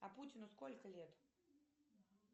а путину сколько лет